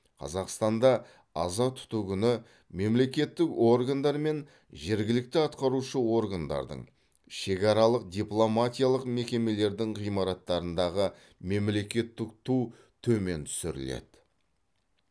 қазақстанда аза тұту күні мемлекеттік органдар мен жергілікті атқарушы органдардың шекаралық дипломатиялық мекемелердің ғимараттарындағы мемлекеттік ту төмен түсіріледі